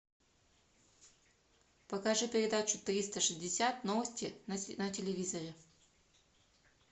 покажи передачу триста шестьдесят новости на телевизоре